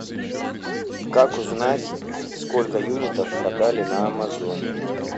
как узнать сколько юнитов продали на амазон